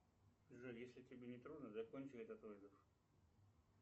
джой если тебе не трудно закончи этот вызов